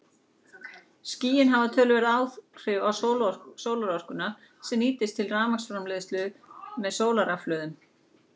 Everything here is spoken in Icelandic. Skýin hafa þannig töluverð áhrif á sólarorkuna sem nýtist til rafmagnsframleiðslu með sólarrafhlöðum.